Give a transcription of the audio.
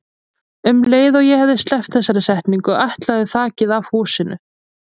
Um leið og ég hafði sleppt þessari setningu ætlaði þakið af húsinu.